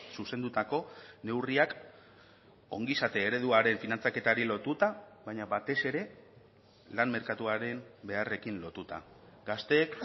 zuzendutako neurriak ongizate ereduaren finantzaketari lotuta baina batez ere lan merkatuaren beharrekin lotuta gazteek